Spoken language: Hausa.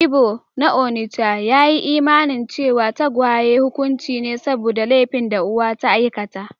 Ibo na onitsha ya yi imanin cewa tagwaye hukunci ne saboda laifin da uwa ta aikata.